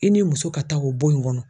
I ni muso ka taa o bon in kɔnɔ.